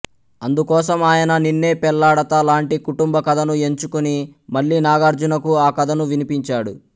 అందుకోసం ఆయన నిన్నే పెళ్ళాడతా లాంటి కుటుంబ కథను ఎంచుకుని మళ్ళీ నాగార్జునకు ఆకథను వినిపించాడు